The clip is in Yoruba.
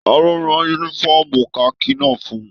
Taló rán yúnífọ̀ọ́mù kaki náà fún ùn?